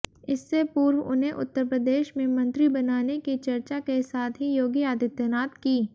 इससे पूर्व उन्हें उत्तरप्रदेश में मंत्री बनाने की चर्चा के साथ ही योगी आदित्यनाथ की